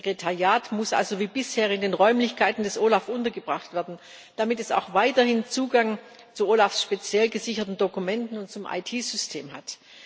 Das Sekretariat muss also wie bisher in den Räumlichkeiten des OLAF untergebracht werden, damit es auch weiterhin Zugang zu den speziell gesicherten Dokumenten des OLAF und zum IT System hat.